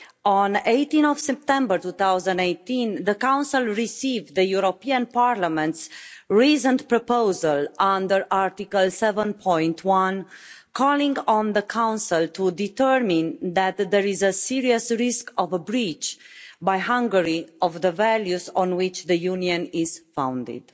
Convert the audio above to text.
On 18 September 2018 the Council received the European Parliament's reasoned proposal under Article 7 calling on the Council to determine that there is a serious risk of a breach by Hungary of the values on which the Union is founded.